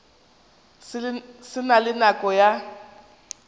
se na le nako ya